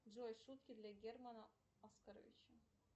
джой шутки для германа оскаровича